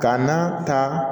Ka na ta